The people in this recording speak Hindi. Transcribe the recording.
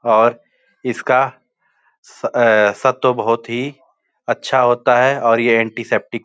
और इसका अ सत्व बहुत ही अच्छा होता है और ये एंटीसेप्टिक --